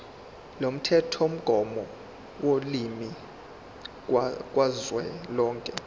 lomthethomgomo wolimi kazwelonke